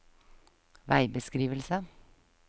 veibeskrivelse